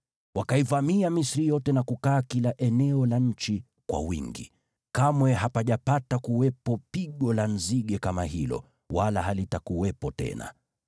Wakaivamia Misri yote na kukaa kila eneo la nchi kwa wingi. Kamwe hapajapata kuwepo pigo la nzige kama hilo, wala halitakuwepo tena.